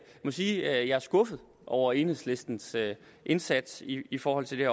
må sige at jeg er skuffet over enhedslistens indsats i i forhold til det